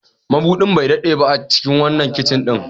Mabudin bai daɗe a cikin wannan kicin ɗin ba.